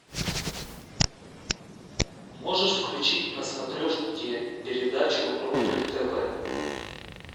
можешь включить на смотрешке передачу рубль тв